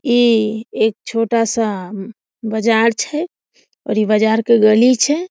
इ एक छोटा सा बाजार छै और इ बाजार के गली छै।